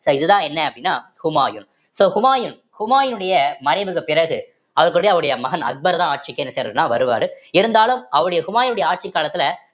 so இதுதான் என்ன அப்படின்னா ஹுமாயூன் so ஹுமாயூன் ஹுமாயினுடைய மறைவுக்குப் பிறகு அவருக்குடைய அவருடைய மகன் அக்பர்தான் ஆட்சிக்கு என்ன செய்யறாருன்னா வருவாரு இருந்தாலும் அவருடைய ஹுமாயினுடைய ஆட்சிக் காலத்துல